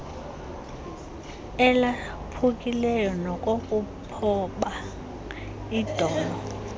elaphukileyo nokokuphoba idolo